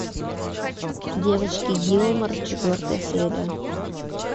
девочки гилмор четвертая серия